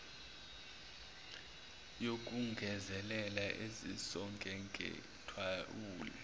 yokugezela ezisonge ngethawula